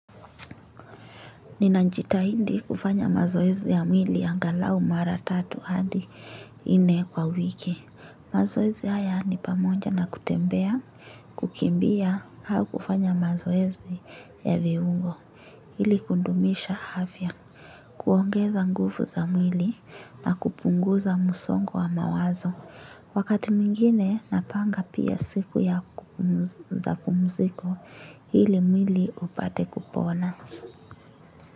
Ninajitahidi kufanya mazoezi ya mwili angalau mara tatu hadi nne kwa wiki. Mazoezi haya ni pamoja na kutembea, kukimbia au kufanya mazoezi ya viungo. Ili kudumisha afya. Kuongeza nguvu za mwili na kupunguza msongo wa mawazo. Wakati mwingine napanga pia siku ya pumziko ili mwili upate kupona.